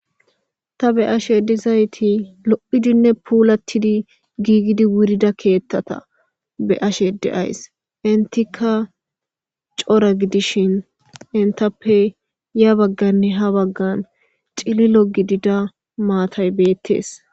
Ta be ashe dizayti lo7idinne puulatidi giigidi wurida keethtata be ashe deays intika cora gidishin intappe ya bagganne ha baggan xililo gidida maatay beettees